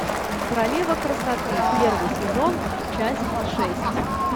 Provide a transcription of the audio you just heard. королева красоты первый сезон часть шесть